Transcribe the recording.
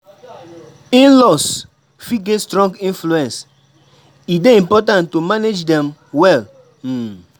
In-laws fit get strong influence; e dey important to manage dem well. um